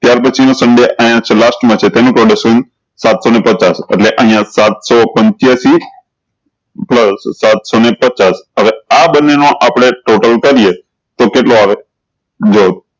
ત્યાર પછી નું સંડે અયીયા જ ચેહ last મા છે તેનું semi production સાત સૌ ને પચચાસ એટલે અયીયા સાત સૌ પીન્ચય્સી સાત સૌ ને પચચાસ હવે આ બન્ને નો આપળે total કરીએ તો કેટલો આવે